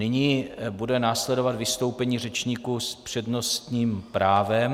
Nyní bude následovat vystoupení řečníků s přednostním právem.